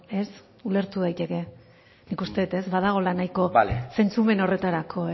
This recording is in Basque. ez ulertu daiteke nik uste dut ez badagoela nahiko zentzumen horretarako